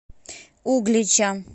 углича